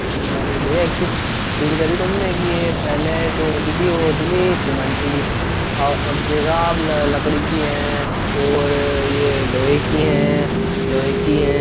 हल्द्वानी भईया एक चीज़ फील करी तुमने की ये पहले जो होती थी वो होती थी सीमेंट की और अब देखा अब लकड़ी की है और ये लोहे की है लोहे की है।